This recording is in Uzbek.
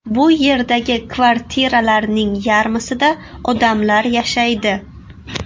Bu yerdagi kvartiralarning yarmisida odamlar yashaydi.